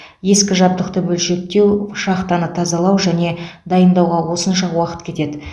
ескі жабдықты бөлшектеу шахтаны тазалау және дайындауға осынша уақыт кетеді